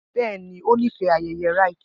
Bẹ́ẹ̀ ni, ó nífẹ̀ẹ́ ayẹyẹ Rite